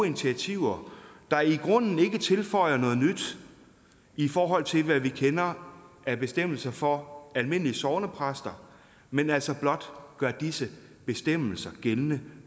initiativer der i grunden ikke tilføjer noget nyt i forhold til hvad vi kender af bestemmelser for almindelige sognepræster men altså blot gør disse bestemmelser gældende